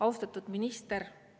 Austatud minister!